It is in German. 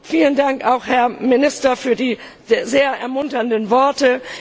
vielen Dank auch, Herr Minister, für die sehr ermunternden Worte.